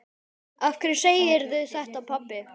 Af hverju segirðu þetta, pabbi?